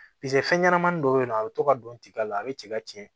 Piseke fɛn ɲɛnɛmani dɔ bɛ yen nɔ a bɛ to ka don tiga la a bɛ cɛ ka tiɲɛ